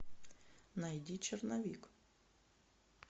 найди черновик